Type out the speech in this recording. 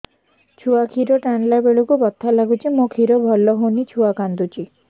ଛୁଆ ଖିର ଟାଣିଲା ବେଳକୁ ବଥା ଲାଗୁଚି ମା ଖିର ଭଲ ହଉନି ଛୁଆ କାନ୍ଦୁଚି